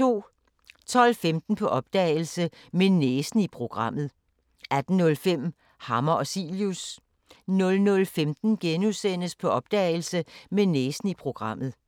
12:15: På opdagelse – Med næsen i programmet 18:05: Hammer og Cilius 00:15: På opdagelse – Med næsen i programmet *